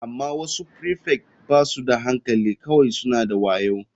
Amma wasu prefect ba su da hankali kawai suna da wayo.